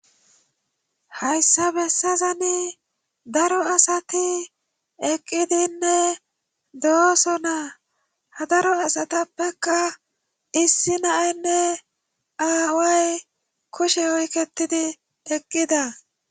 Hayssa bessazani daro asati eqqidinne dooso naa hadaro asatappekka issi naaynne aaway kushe oyketidi eqqida.